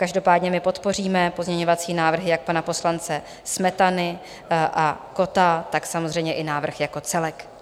Každopádně my podpoříme pozměňovací návrhy jak pana poslance Smetany a Kotta, tak samozřejmě i návrh jako celek.